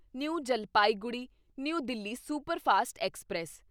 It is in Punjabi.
new Jalpaiguri new Delhi superfast express